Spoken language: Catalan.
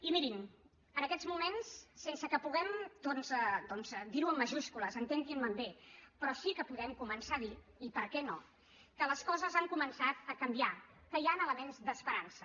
i mirin en aquests moments sense que puguem doncs dir ho amb majúscules entenguin me bé però sí que podem començar a dir i per què no que les coses han començat a canviar que hi han elements d’esperança